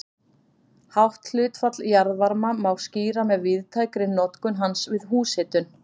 Hátt hlutfall jarðvarma má skýra með víðtækri notkun hans við húshitun.